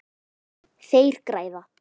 Þeir græða.